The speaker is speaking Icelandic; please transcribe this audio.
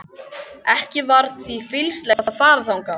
Ekki var því fýsilegt að fara þangað.